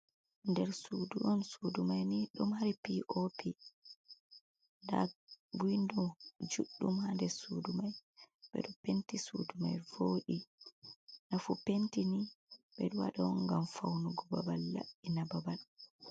Nder sudu on, sudu mai ni ɗum mari pop, nda windo judɗum ha nder sudu mai, ɓeɗo penti sudu mai voɗi, nafu penti ni ɓeɗo wada on ngam faunugo babal labɓina babal.